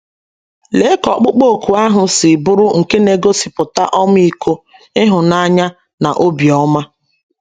Lee ka ọkpụkpọ òkù ahụ si bụrụ nke na - egosipụta ọmịiko, ịhụnanya, na obiọma!